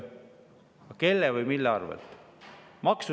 Aga kelle või mille arvelt?